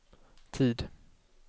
tid